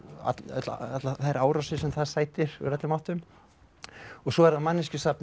allar þær árásir sem það sætir úr öllum áttum og svo er það